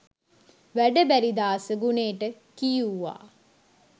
වැඩ බැරි දාස ගුණේට කියුවා.